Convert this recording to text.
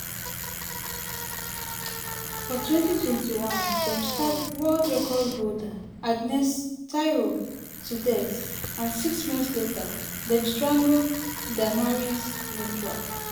for 2021 dem stab world record holder agnes agnes tirop to death and six months later dem strangle damaris mutua.